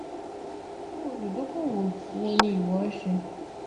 iru oludokoowo wo ni iwo nse?